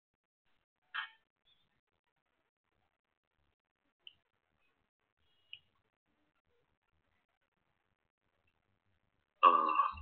അഹ്